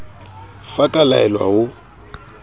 f a ka laelwa ho